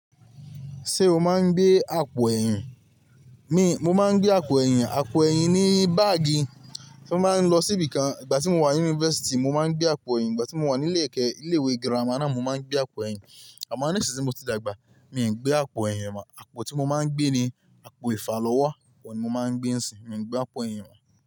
Ṣé o máa ń gbé àpò ẹ̀yìn? Mi, mo máa ń gbé àpò ẹ̀yìn, àpò ẹ̀yìn ni báàgì o máa ń lọ síbì kan. Ìgbà tí mo wà ní yunfẹsti mo máa ń gbé àpò ẹ̀yìn, ìgbà tí mo wà ní ilé kẹ́, ilé ìwé girama náà mo máa ń gbé àpò ẹ̀yìn. Àmọ́ nísinsìn ti mo ti dàgbà, mii ń gbé àpò ẹ̀yìn mọ̀. Àpò tí mo máa ń gbé ni àpò ìfàlọ́wọ́, ohun ni mo máa ń gbé ń sìn, mii ń gbé àpò ẹ̀yìn mọ̀